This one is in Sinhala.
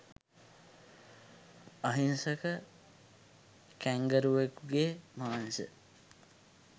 අහිංසක කැන්ගරුවෙකුකෙ මාංශ